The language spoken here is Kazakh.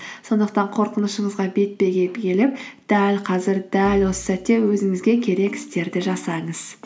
сондықтан қорқынышыңызға бетпе бет келіп дәл қазір дәл осы сәтте өзіңізге керек істерді жасаңыз